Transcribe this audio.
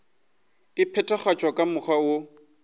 e phethagatšwa ka mokgwa woo